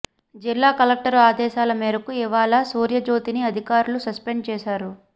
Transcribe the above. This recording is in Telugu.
జిల్లా కలెక్టర్ ఆదేశాల మేరకు ఇవాళ సూర్యజ్యోతిని అధికారులు సస్పెండ్ చేశారు